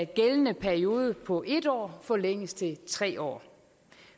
gældende periode på en år forlænges til tre år